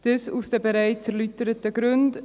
Dies aus den bereits erläuterten Gründen.